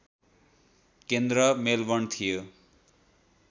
केन्द्र मेलबर्न थियो